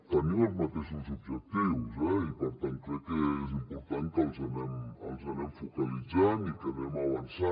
tenim els mateixos objectius eh i per tant crec que és important que els anem focalitzant i que anem avançant